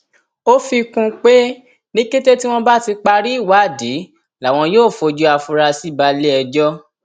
ó fi kún un pé ní kété tí wọn bá ti parí ìwádìí làwọn yóò fojú àfurasí balẹẹjọ